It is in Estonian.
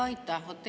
Aitäh!